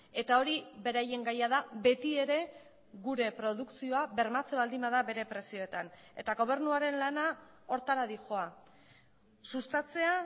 eta hori beraien gaia da beti ere gure produkzioa bermatzen baldin bada bere prezioetan eta gobernuaren lana horretara doa sustatzea